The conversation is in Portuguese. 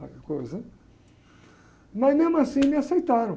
Mas, mesmo assim, me aceitaram.